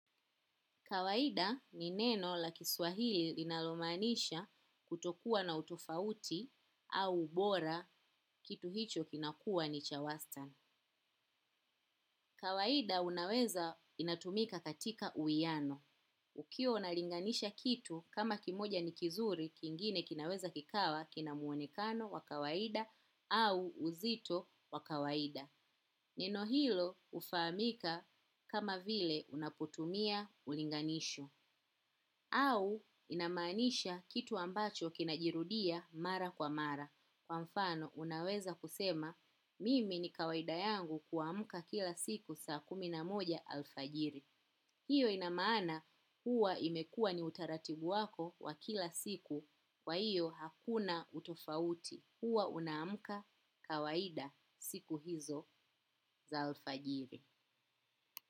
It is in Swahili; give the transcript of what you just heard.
Kawaida ni neno la kiswahili linalomanisha kutokuwa na utofauti au ubora kitu hicho kinakua ni cha wastan. Kawaida unaweza inatumika katika uiyano. Ukiywa unalinganisha kitu kama kimoja ni kizuri kingine kinaweza kikawa kinamuonekano wakawaida au uzito wakawaida. Neno hilo ufamika kama vile unapotumia ulinganisho. Au inamanisha kitu ambacho kinajirudia mara kwa mara. Kwa mfano unaweza kusema mimi ni kawaida yangu kuamuka kila siku saa kuminamoja alfajiri. Hiyo inamaana huwa imekua ni utaratibu wako wa kila siku wa hiyo hakuna utofauti. Huwa unaamka kawaida siku hizo za alfajiri.